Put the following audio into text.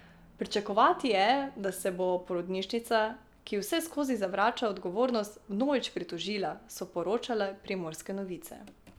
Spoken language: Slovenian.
Pričakovati je, da se bo porodnišnica, ki vseskozi zavrača odgovornost, vnovič pritožila, so poročale Primorske novice.